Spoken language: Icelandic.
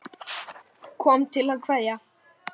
Ég kom til að kveðja.